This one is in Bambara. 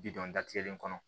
Bidɔn datigɛlen kɔnɔ